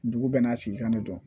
Dugu bɛɛ n'a sigi kan de don